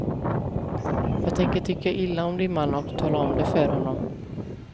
Jag tänker tycka illa om din man, och tala om det för honom.